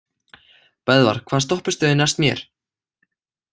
Böðvar, hvaða stoppistöð er næst mér?